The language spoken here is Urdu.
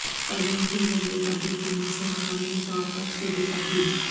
ترمیم کے ذریعے تبدیل کرنے سے مکمل طور پر صوبے تبدیل